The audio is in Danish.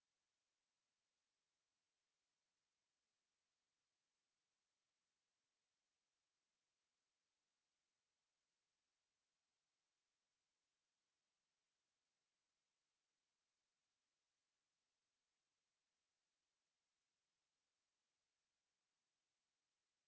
to